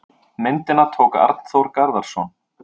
Myndina tók Arnþór Garðarsson.